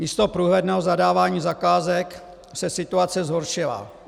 Místo průhledného zadávání zakázek se situace zhoršila.